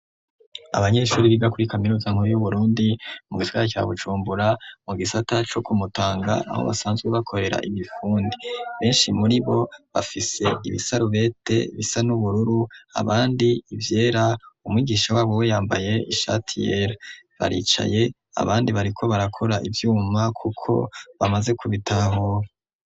Abanyeshuri bigakura i kamiruza nkubu y'uburundi mu gitwaya ca bucumbura mu gisata co kumutanga aho basanzwe bakorera imifundi benshi muri bo bafise ibisarubete bisa n'ubururu abandi ivyera umwigisha wabuwe yambaye ishatiyeri baricaye abandi bariko barakora ivyoumba mma, kuko bamaze kubitaahoe.